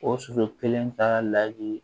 O soso kelen ka laji